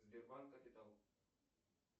сбербанк капитал